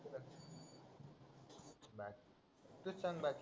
तू सांग भाई